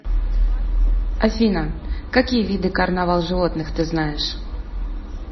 афина какие виды карнавал животных ты знаешь